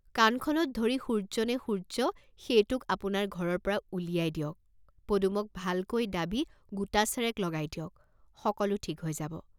কাণখনত ধৰি সূৰ্য্য নে সূৰ্য্য সেইটোক আপোনাৰ ঘৰৰ পৰা উলিয়াই দিয়ক, পদুমক ভালকৈ দাবি গোটাচেৰেক লগাই দিয়ক, সকলো ঠিক হৈ যাব।